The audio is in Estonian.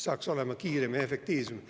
oleks kiirem ja efektiivsem.